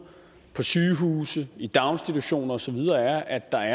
på sygehuse i daginstitutioner og så videre er at der